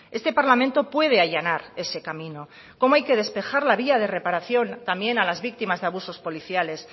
este parlamento puede allanar ese camino cómo hay que despejar las vías de reparación también a las víctimas de abusos policiales